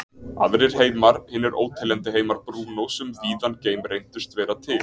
Aðrir heimar, hinir óteljandi heimar Brúnós um víðan geim, reyndust vera til.